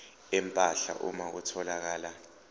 empahla uma kutholakala